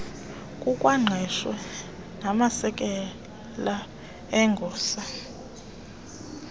kukwaqeshwe namasekela egosa